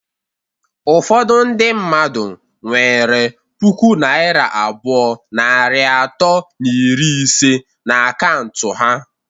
Ụfọdụ ndị mmadụ nwere pụkụ naira abụọ, narị atọ na iri ise na akaụntụ ha